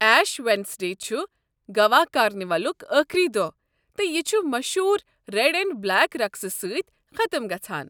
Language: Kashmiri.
ایش ویڈنیس ڈے چھُ گوا کارنیولُک ٲخری دۄہ تہٕ یہِ چھُ مشہوٗر ریٚڑ اینڈ بلیک رقسہٕ سٕتۍ ختٕم گژھان۔